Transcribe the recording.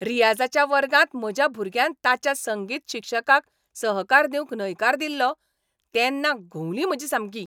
रीयाझाच्या वर्गांत म्हज्या भुरग्यान ताच्या संगीत शिक्षकाक सहकार दिवंक न्हयकार दिलो तेन्ना घुंवली म्हजी सामकी.